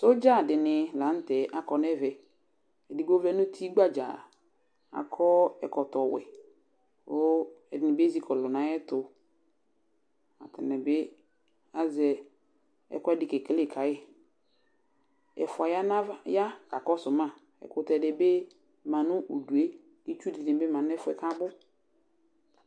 Sɔdza dɩnɩ la nʋ tɛ akɔ nɛvɛ ; edigbo vlɛ nuti gbadzaa, akɔ ɛkɔtɔ wɛ kʋ ɛdɩnɩ bɩ ezikɔlʋ naɛtʋ ,atanɩ bɩ azɛ ɛkʋɛdɩ kekele kayɩƐfʋa ya kakɔsʋ ma, ɛkʋtɛ dɩbɩ ma nʋ udue, itsu dɩnɩ bɩ ma nʋ ɛfʋɛ kabʋ